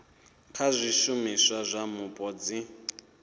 kha zwishumiswa zwa mupo dzi